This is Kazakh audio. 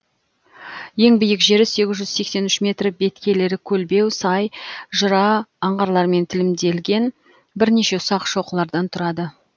ең биік жері сегіз жүз сексен үш метр беткейлері көлбеу сай жыра аңғарлармен тілімделген бірнеше ұсақ шоқылардан тұрады